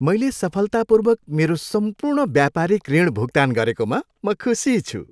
मैले सफलतापूर्वक मेरो सम्पूर्ण व्यापारिक ऋण भुक्तान गरेकोमा म खुसी छु।